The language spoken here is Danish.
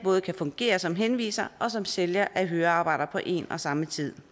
kan fungere både som henviser og som sælger af høreapparater på en og samme tid